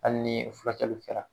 Hali ni furaKɛli kɛla .